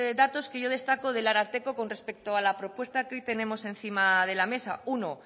datos que yo destaco del ararteko con respecto a la propuesta que hoy tenemos encima de la mesa uno